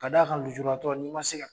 K d'a kan nujuratɔ n'i ma se ka